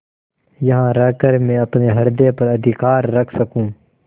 यहाँ रहकर मैं अपने हृदय पर अधिकार रख सकँू